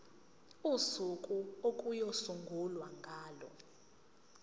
usuku okuyosungulwa ngalo